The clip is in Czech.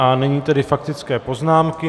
A nyní tedy faktické poznámky.